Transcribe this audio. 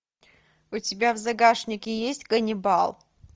у тебя в загашнике есть каннибал